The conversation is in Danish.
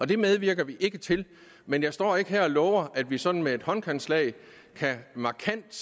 det medvirker vi ikke til men jeg står ikke her og lover at vi sådan med et håndkantslag markant